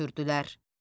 hönkürdülər.